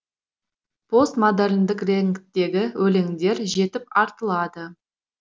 постмодерндік реңдегі өлеңдер жетіп артылады